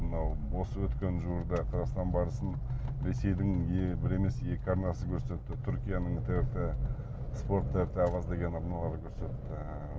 мынау осы өткен жуырда қазақстан барысын ресейдің бір емес екі арнасы көрсетті түркияның спорт арналарды көрсетті